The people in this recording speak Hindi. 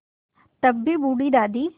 तब भी बूढ़ी दादी